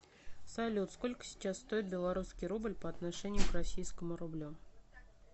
салют сколько сейчас стоит белорусский рубль по отношению к российскому рублю